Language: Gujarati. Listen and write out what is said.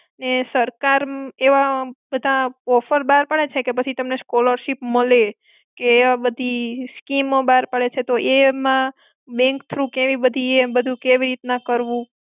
એ સરકાર એવા બધા offer બાર પાડે છે કે પછી તમને scholarship મળે કે એવા બધી scheme ઓ બાર પાડે છે તો એમાં bank through કેવી બધી એ બધું કેવી રીતના કરવું?